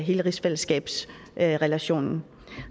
hele rigsfællesskabsrelationen